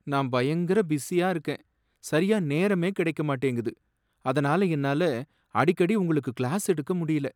நான் பயங்கர பிஸியா இருக்கேன், சரியா நேரமே கிடைக்க மாட்டேங்குது, அதனால என்னால அடிக்கடி உங்களுக்கு கிளாஸ் எடுக்க முடியல.